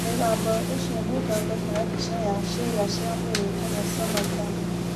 Mĩgambo ĩcio nĩ ĩthondekaga mbica ya ciĩga cia mwĩrĩ ĩtagwo sonogram.